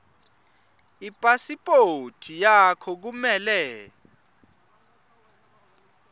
ipasiphothi yakho kumele